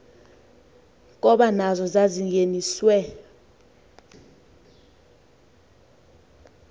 koba nazo zazingeniswe